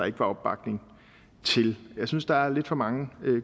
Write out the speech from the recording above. ikke var opbakning til jeg synes der er lidt for mange